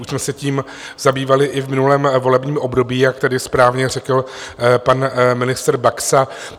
Už jsme se tím zabývali i v minulém volebním období, jak tady správně řekl pan ministr Baxa.